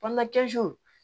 Banana